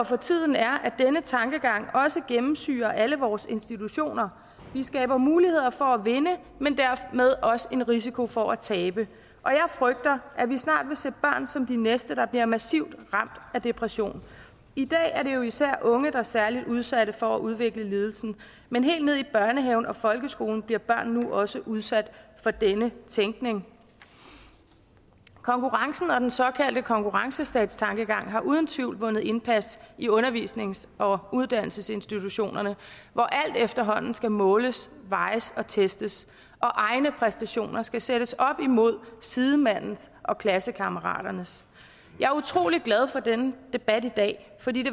for tiden er at denne tankegang også gennemsyrer alle vores institutioner vi skaber muligheder for at vinde men dermed også risiko for at tabe og jeg frygter at vi snart vil se børn som de næste der bliver massivt ramt af depression i dag er det jo især de unge der er særligt udsatte for at udvikle lidelsen men helt ned i børnehaven og folkeskolen bliver børn nu også udsat for denne tænkning konkurrencen og den såkaldte konkurrencestattankegang har uden tvivl vundet indpas i undervisnings og uddannelsesinstitutionerne hvor alt efterhånden skal måles vejes og testes og egne præstationer skal sættes op imod sidemandens og klassekammeraternes jeg er utrolig glad for denne debat i dag for det